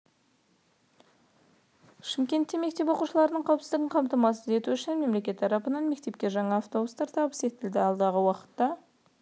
шымкентте мектеп оқушыларының қауіпсіздігін қамтамасыз ету үшін мемлекет тарапынан мектепке жаңа автобустар табыс етілді алдағы уақытта